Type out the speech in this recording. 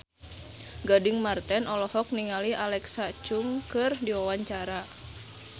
Gading Marten olohok ningali Alexa Chung keur diwawancara